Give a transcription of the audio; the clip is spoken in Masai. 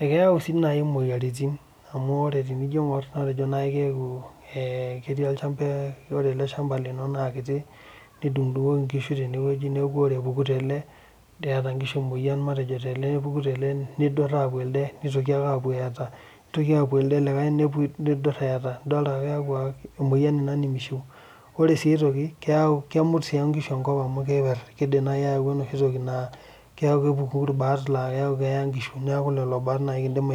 ekeyau naaji imoyiaritin, amu ore. tenijo aing'or ekejo aaku ee ketii olchampa. ore ele shampa lino naa ketii nedung'idungoki nkishu naa ore epuku tele, eeta nkishu emoyian, matejo tele. nepuku tele nepuo eeta, nidur eeta. ore sii aitoki kemut nkishu enkop kepuku ilbaat laa keeta nkishu, neeku lelo baat kidim aibooi.